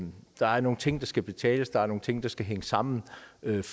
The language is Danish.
der er nogle ting der skal betales der er nogle ting der skal hænge sammen